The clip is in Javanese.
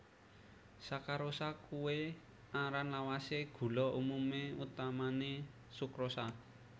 Sakarosa kuwé aran lawasé gula umumé utamané sukrosa